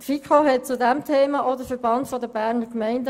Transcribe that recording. Die FiKo hat zu diesem Thema auch mit dem VBG gesprochen.